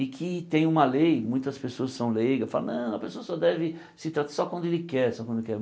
E que tem uma lei, muitas pessoas são leigas, falam, não, a pessoa só deve se tra só quando ele quer, só quando ele quer.